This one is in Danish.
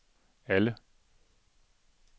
alle